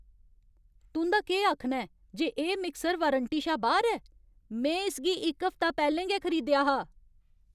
तुं'दा केह् आखना ऐ जे एह् मिक्सर वारंटी शा बाह्‌र ऐ? में इसगी इक हफ्ता पैह्लें गै खरीदेआ हा!